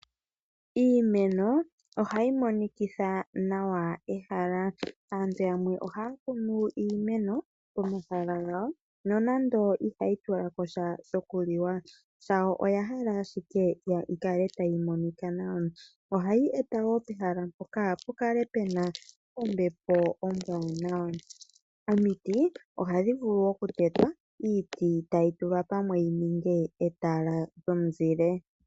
Iimeno ohayi monikitha nawa ehala. Aantu yamwe ohaya kunu iimeno pomahala gawo nonando ihayi tula ko sha shokulya, shawo oya hala owala yi kale tayi monika nawa . Ohayi eta wo pehala mpoka pu kale pu na ombepo ombwaanawa. Omiti ohadhi vulu okutetwa iiti e tayi tulwa pamwe yi ninge etala lyomuzile.